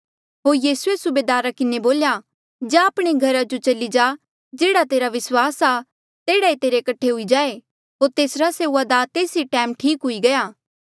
होर यीसूए सूबेदारा किन्हें बोल्या जा आपणे घरा जो चली जा जेह्ड़ा तेरा विस्वास आ तेह्ड़ा ई तेरे कठे हुई जाए होर तेसरा सेऊआदार तेस ई टैम ठीक हुई गया